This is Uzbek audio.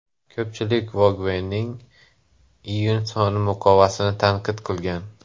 Ko‘pchilik Vogue’ning iyun soni muqovasini tanqid qilgan.